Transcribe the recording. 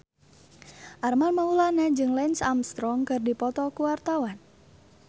Armand Maulana jeung Lance Armstrong keur dipoto ku wartawan